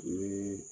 Ni